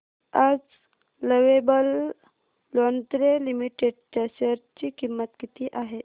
आज lovable lingerie limited च्या share ची किंमत किती आहे